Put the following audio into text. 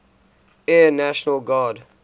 air national guard